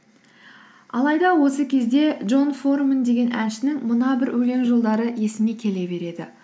алайда осы кезде джон форумен деген әншінің мына бір өлең жолдары есіме келе береді